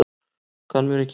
Kann mér ekki hóf.